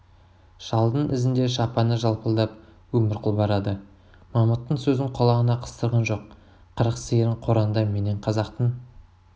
шалдың ізінде шапаны жалпылдап өмірқұл барады мамыттың сөзін құлағына қыстырған жоқ қырық сиырың қораңда менен қазақтың